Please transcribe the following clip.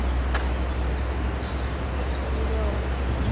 Þetta er ljóð.